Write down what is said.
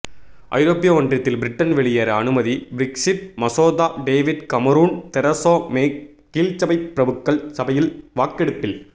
ஐரோப்பிய ஒன்றியத்தில் பிரிட்டன் வெளியேற அனுமதி பிரெக்ஸிட் மசோதா டேவிட் கமரூன் தெரசா மே கீழ்சபை பிரபுக்கள் சபையில் வாக்கெடுப்பில்